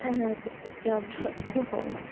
হ্যাঁ হ্যাঁ BD job dot com.